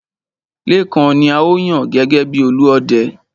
Lékan ni a ó yàn gẹ́gẹ́ bi Olúọdẹ.